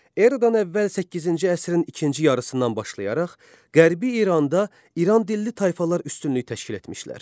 Eradan əvvəl səkkizinci əsrin ikinci yarısından başlayaraq Qərbi İranda İran dilli tayfalar üstünlük təşkil etmişlər.